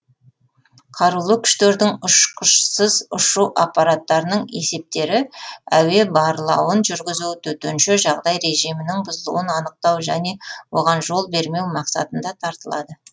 қарулы күштердің ұшқышсыз ұшу аппараттарының есептері әуе барлауын жүргізу төтенше жағдай режимінің бұзылуын анықтау және оған жол бермеу мақсатында тартылады